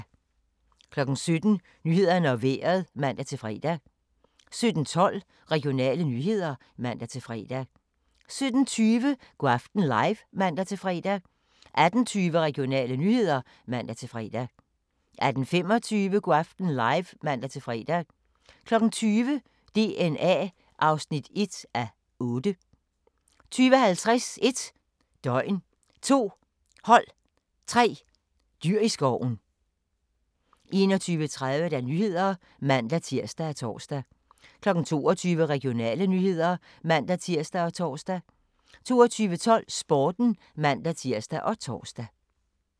17:00: Nyhederne og Vejret (man-fre) 17:12: Regionale nyheder (man-fre) 17:20: Go' aften live (man-fre) 18:20: Regionale nyheder (man-fre) 18:25: Go' aften live (man-fre) 20:00: DNA (1:8) 20:50: 1 døgn, 2 hold, 3 dyr i skoven 21:30: Nyhederne (man-tir og tor) 22:00: Regionale nyheder (man-tir og tor) 22:12: Sporten (man-tir og tor)